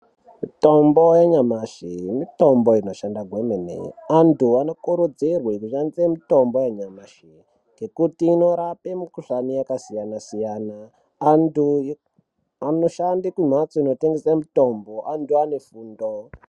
Mitombo yanyamashi mitombo inoshanda kwemene antu anokurudzirwe kushandise mitombo yanyamashi ngekuti inorape mikhushani yakasiyana-siyana, antu anoshande kumhatso inotengese mitombo antu ane fundo.